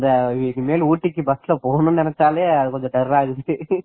இனிமேல் ஊட்டிக்கு bus ல போகணும்னு நெனச்சாலே கொஞ்சம் டெரர்ரா இருக்கு